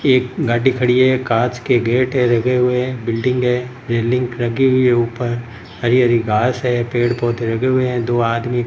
एक गाड़ी खड़ी है कांच के गेट है लगे हुए है बिल्डिंग है रेलिंग लगी हुई है ऊपर हरी-हरी घास है पेड-पौधे लगे हुए है दो आदमी --